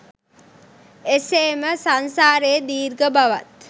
එසේ ම සංසාරයේ දීර්ඝ බවත්